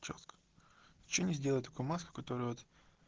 с чем сделать маску которая вот